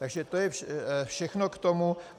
Takže to je všechno k tomu.